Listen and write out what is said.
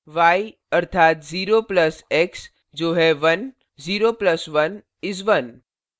y अर्थात 0 plus x जो है 10 plus 1 is 1